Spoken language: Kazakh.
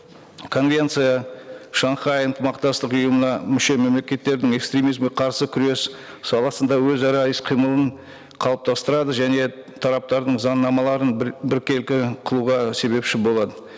конвенция шанхай ынтымақтастық ұйымына мүше мемлекеттердің экстремизмге қарсы күрес саласында өзара іс қимылын қалыптастырады және тараптардың заңнамаларын біркелкі қылуға себепші болады